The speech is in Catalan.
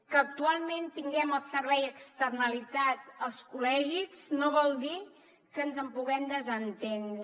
que actualment tinguem el servei externalitzat als col·legis no vol dir que ens en puguem desentendre